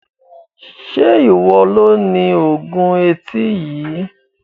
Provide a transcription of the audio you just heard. Se iwọ lo ní oògùn etí yìí?